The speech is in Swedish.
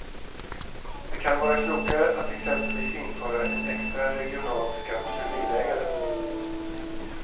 Det kan vara klokare att exempelvis införa en extra regional skatt för bilägare.